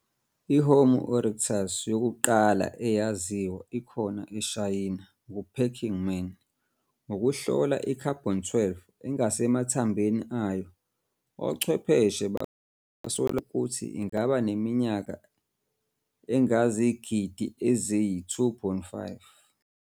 I-"Homo erectus" yokuqala eyaziwa ikhona eShayina ngu-Peking Man. Ngokuhlola i-Carbon-12 engasemathambeni ayo, ochwepheshe basola ukuthi ingabaneminyaka engezigidi eziyi-2.5.